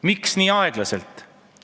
Miks nii aeglaselt?